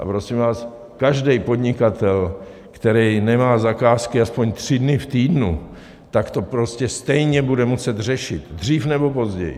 A prosím vás, každý podnikatel, který nemá zakázky aspoň tři dny v týdnu, tak to prostě stejně bude muset řešit, dřív nebo později.